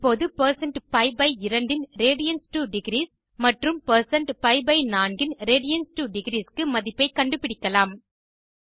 இப்போது 160pi2 ன் radians2டிக்ரீஸ் மற்றும் பி4 ன் radians2டிக்ரீஸ் க்கு மதிப்பை கண்டுபிடிக்கலாம்